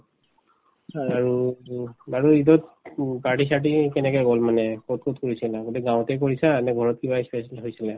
আৰুতো বাৰু ঈদত উম party চাৰ্টি কেনেকে গল মানে কত কত কৰিছিলা গোটেই গাঁৱতে কৰিছা নে ঘৰত কিবা ই special হৈছিলে ?